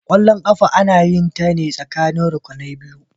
Kwallon kafa ana yinta ne tsakanin rukunai biyu.